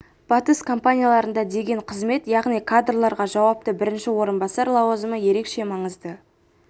батыс компанияларында деген қызмет яғни кадрларға жауапты бірінші орынбасар лауазымы ерекше маңызды